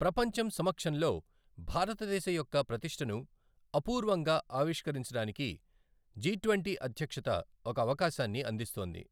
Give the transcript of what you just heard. ప్రపంచం సమక్షంలో భారతదేశం యొక్క ప్రతిష్టను అపూర్వంగా ఆవిష్కరించడానికి జిట్వంటీ అధ్యక్షత ఒక అవకాశాన్ని అందిస్తోంది